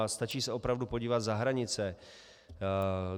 A stačí se opravdu podívat za hranice.